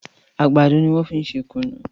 Àgbàdo ní wón fín ṣe kunu.